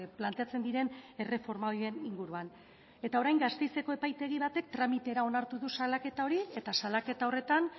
planteatzen diren erreforma horien inguruan eta orain gasteizeko epaitegi batek tramitera onartu du salaketa hori eta salaketa horretan